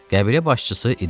Qəbilə başçısı irişdi.